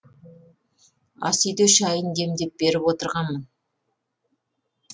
асүйде шайын демдеп беріп отырғанмын